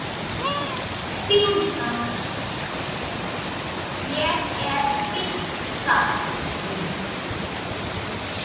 Ég er fínn þar.